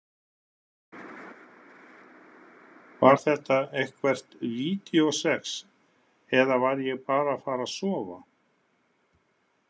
Var þetta eitthvert vídeósex eða var ég bara að fara að sofa?